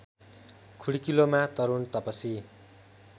खुड्कीलोमा Tarun Tapasi